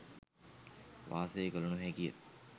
වාසය කළ නොහැකිය.